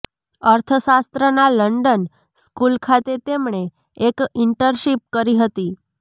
અર્થશાસ્ત્રના London school ખાતે તેમણે એક ઇન્ટર્નશિપ કરી હતી